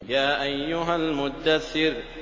يَا أَيُّهَا الْمُدَّثِّرُ